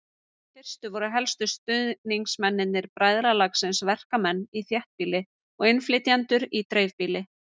Í fyrstu voru helstu stuðningsmenn bræðralagsins verkamenn í þéttbýli og innflytjendur í dreifbýli.